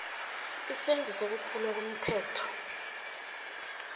isenzo sokwephulwa komthetho